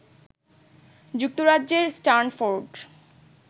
যুক্তরাজ্যের স্টানফোর্ড